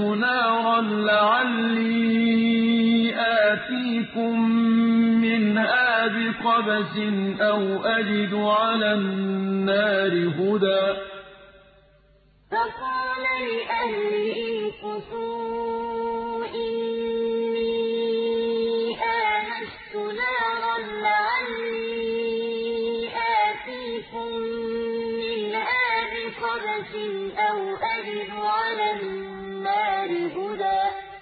نَارًا لَّعَلِّي آتِيكُم مِّنْهَا بِقَبَسٍ أَوْ أَجِدُ عَلَى النَّارِ هُدًى إِذْ رَأَىٰ نَارًا فَقَالَ لِأَهْلِهِ امْكُثُوا إِنِّي آنَسْتُ نَارًا لَّعَلِّي آتِيكُم مِّنْهَا بِقَبَسٍ أَوْ أَجِدُ عَلَى النَّارِ هُدًى